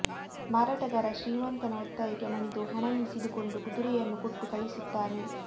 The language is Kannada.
ಮಾರಾಟಗಾರ ಶ್ರೀಮಂತನ ಒತ್ತಾಯಕ್ಕೆ ಮಣಿದು ಹಣ ಇಸಿದುಕೊಂಡು ಕುದುರೆಯನ್ನು ಕೊಟ್ಟು ಕಳಿಸುತ್ತಾನೆ